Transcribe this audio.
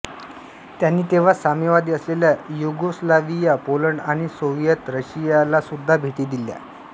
त्यांनी तेव्हा साम्यवादी असलेल्या युगोस्लाव्हिया पोलंड आणि सोव्हिएत रशियालासुद्धा भेटी दिल्या